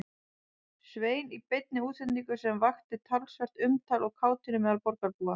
Svein í beinni útsendingu sem vakti talsvert umtal og kátínu meðal borgarbúa.